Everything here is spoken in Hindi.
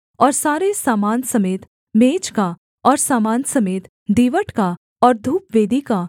और सारे सामान समेत मेज का और सामान समेत दीवट का और धूपवेदी का